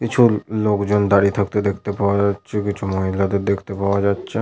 কিছু লোকজন দাঁড়িয়ে থাকতে দেখতে পাওয়া যাচ্ছে কিছু মহিলাদের দেখতে পাওয়া যাচ্ছে।